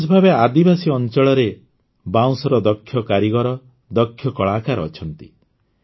ବିଶେଷ ଭାବେ ଆଦିବାସୀ ଅଞ୍ଚଳରେ ବାଉଁଶର ଦକ୍ଷ କାରିଗର ଦକ୍ଷ କଳାକାର ଅଛନ୍ତି